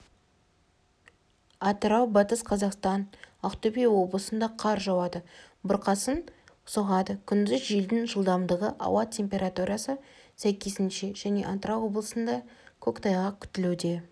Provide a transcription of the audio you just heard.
атырау батыс қзақастан ақтөбе облысында қар жауады бұрқасын соғады күндіз желдің жылдамдығы ауа температурасы сәйкесінше және атырау облысында көктайғақ күтілуде